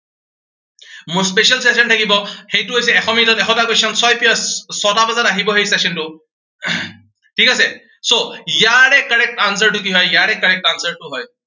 মোৰ special session থাকিব। সেইটো হৈছে এশ মিনিটত এশটা question ছয় PM ছটা বজাত আহিব সেই session টো। ঠিক আছে so ইয়াৰে correct answer টো কি হয়, ইয়াৰে correct answer টো হয়